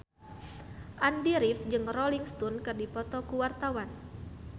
Andy rif jeung Rolling Stone keur dipoto ku wartawan